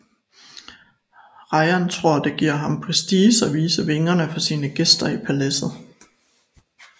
Rajan tror det giver ham prestige at vise vingerne for sine gæster i paladset